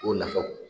O nafaw